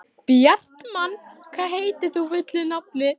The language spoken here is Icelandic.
Bjartmann, hvað heitir þú fullu nafni?